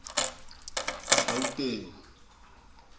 gauteng